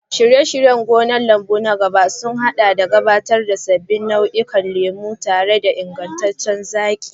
Shirye-shiryen gonar lambu na gaba sun haɗa da gabatar da sabbin nau'ikan lemu tare da ingantaccen zaƙi.